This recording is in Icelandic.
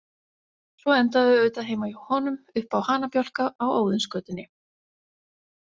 Svo enda þau auðvitað heima hjá honum, uppi á hanabjálka á Óðinsgötunni.